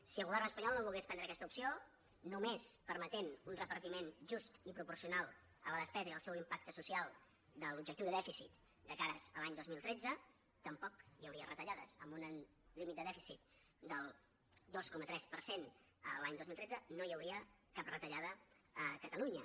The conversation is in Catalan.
si el govern espanyol no volgués prendre aquesta opció només permetent un repartiment just i proporcional a la despesa i al seu impacte social de l’objectiu de dèficit de cara a l’any dos mil tretze tampoc hi hauria retallades amb un límit de dèficit del dos coma tres per cent l’any dos mil tretze no hi hauria cap retallada a catalunya